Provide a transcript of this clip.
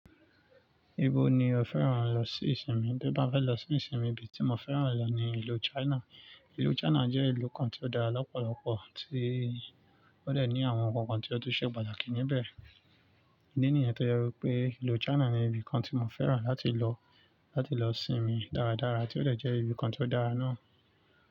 Ibo ni o fẹ́ràn lọ sí ìsinmi? Bí mo bá fẹ́ lọ sí ìsinmi, ibi tí mo fẹ́ràn lọ ni ìlú China. Ìlú China jẹ́ ìlú kan tí ó dára lọ́pọ̀lọpọ̀, tí ó lè ní àwọn nnkan kan tí ó tó ṣe pàtàkì níbẹ̀. Idi niyen yo jẹ wípé ìlú China ni ibi kan tí mo fẹ́ràn láti lọ, láti lọ sinmi dáradára, tí ó lè jẹ́ ibi kan tí ó dára náà.